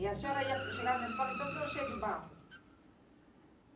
E a senhora ia, chegava na escola, então tudo cheio de barro.